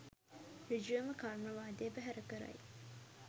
සෘජුවම කර්මවාදය බැහැර කරයි